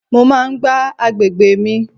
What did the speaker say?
Mo máa ń gbá àgbègbè mi.